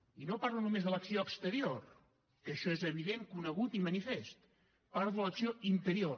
i no parlo només de l’acció exterior que això és evident conegut i manifest parlo de l’acció interior